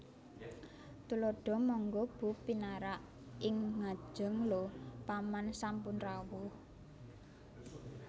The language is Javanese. Tuladha Mangga Bu pinarak ing ngajeng Lho Paman sampun rawuh